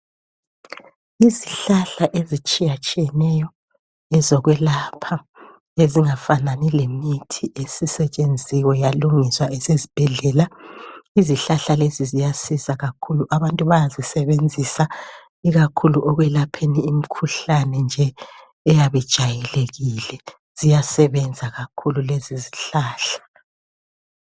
yizihlahla ezitshiyatshiyeneyo ezokwelapha ezingafanani lemithi esisetshenziwe yalungiswa yafakwa ezibhedlela izihlahla lezi ziyasiza kakhulu abantu abantu bayazisebenzisa kakhulu ekwelapheni imikhuhlane nje eyabe ijayelekile ziyasebenza kakhulu lezi izihlahla